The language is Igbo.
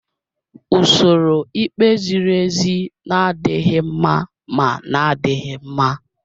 Usoro ikpe ziri ezi na-adịghị mma ma na-adịghị mma.